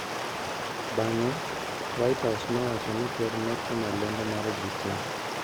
" Bang'e, White House nowacho ni ker ne timo lendo mar ji tee.